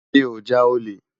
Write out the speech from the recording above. Mi ó já ólé